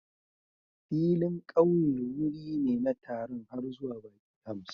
Filin ƙauye wuri ne na taron har zuwa baƙi hamsin